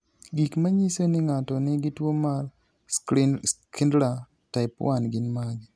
Gik manyiso ni ng'ato nigi tuwo mar Schindler type 1 gin mage?